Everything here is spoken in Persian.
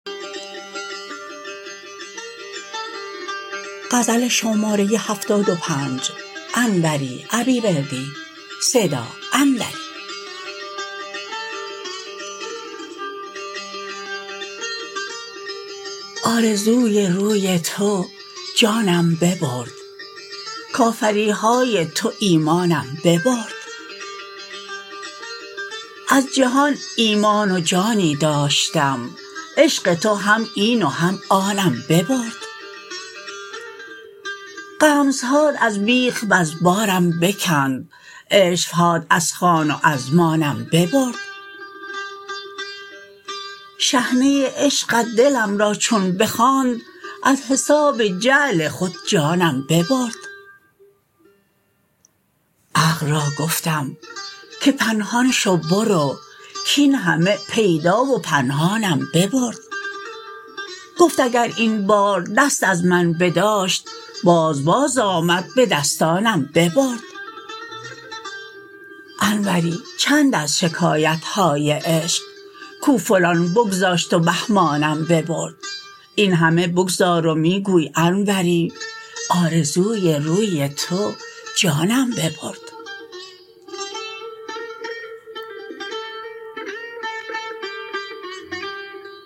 آرزوی روی تو جانم ببرد کافریهای تو ایمانم ببرد از جهان ایمان و جانی داشتم عشق تو هم این و هم آنم ببرد غمزهات از بیخ وز بارم بکند عشوهات از خان و از مانم ببرد شحنه عشقت دلم را چون بخواند از حساب جعل خود جانم ببرد عقل را گفتم که پنهان شو برو کین همه پیدا و پنهانم ببرد گفت اگر این بار دست از من بداشت باز باز آمد به دستانم ببرد انوری چند از شکایتهای عشق کو فلان بگذاشت و بهمانم ببرد این همه بگذار و می گوی انوری آرزوی روی تو جانم ببرد